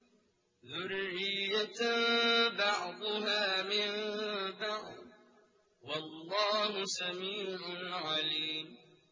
ذُرِّيَّةً بَعْضُهَا مِن بَعْضٍ ۗ وَاللَّهُ سَمِيعٌ عَلِيمٌ